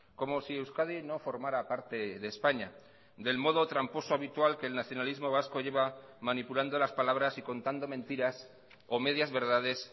como si euskadi no formara parte de españa del modo tramposo habitual que el nacionalismo vasco lleva manipulando las palabras y contando mentiras o medias verdades